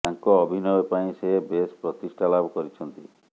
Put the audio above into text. ତାଙ୍କ ଅଭିନୟ ପାଇଁ ସେ ବେଶ ପ୍ରତିଷ୍ଠା ଲାଭ କରିଛନ୍ତି